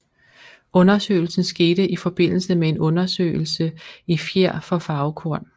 Undersøgelsen skete i forbindelse med en undersøgelse i fjer for farvekorn